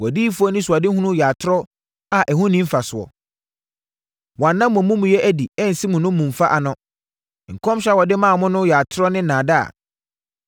Wʼadiyifoɔ anisoadehunu yɛ atorɔ a ɛho nni mfasoɔ; wɔanna mo amumuyɛ adi ansi mo nnommumfa ano. Nkɔmhyɛ a wɔde maa mo no yɛ atorɔ ne nnaadaa.